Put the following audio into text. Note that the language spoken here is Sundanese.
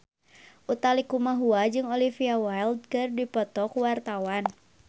Utha Likumahua jeung Olivia Wilde keur dipoto ku wartawan